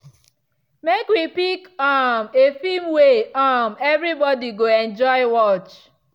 make we pick um a film way um everybody go enjoy watch.